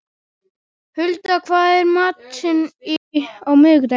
Hulda, hvað er í matinn á miðvikudaginn?